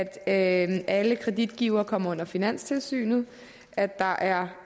at alle kreditgivere kommer under finanstilsynet at der er